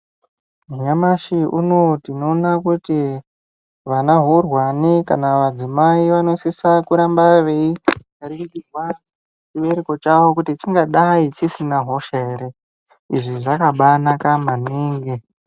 Nyamashi unowu tinoona kuti vana hurwane kana madzimai vanosisa veiningirwa chibereko chavo kuti chingadai chisina hosha ere. Izvi zvakabanaka maningi.